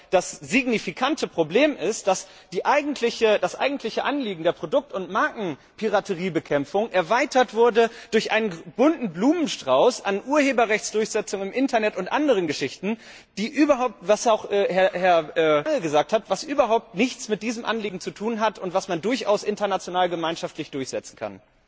Das signifikante Problem hier ist aber doch, dass das eigentliche Anliegen der Produkt und Markenpirateriebekämpfung erweitert wurde durch einen bunten Blumenstrauß an Urheberrechtsdurchsetzungen, Internet und anderen Geschichten, die wie auch Herr Lange gesagt hat überhaupt nichts mit diesem Anliegen zu tun haben und die man durchaus international gemeinschaftlich durchsetzen kann.